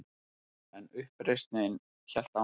En uppreisnin hélt áfram.